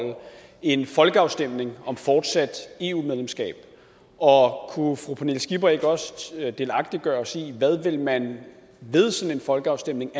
en folkeafstemning om fortsat eu medlemskab og kunne fru pernille skipper ikke også delagtiggøre os i hvad man ved sådan en folkeafstemning